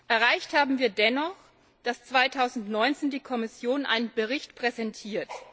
Erreicht haben wir dennoch, dass 2019 die Kommission einen Bericht präsentiert.